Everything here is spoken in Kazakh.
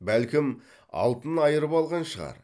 бәлкім алтын айырып алған шығар